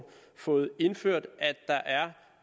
fået indført at der er